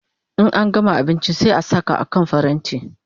In an gama abinchi sai a saka a kan paranti